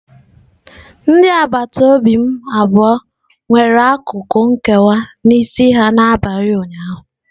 Ndị agbata obi m abụọ nwere akụkụ nkewa n'isi ha n'abalị ụnyaahụ.